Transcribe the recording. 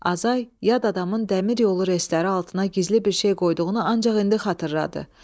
Azay, yad adamın dəmir yolu relsləri altına gizli bir şey qoyduğunu ancaq indi xatırladı.